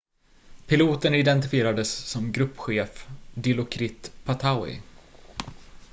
piloten identifierades som gruppchef dilokrit pattavee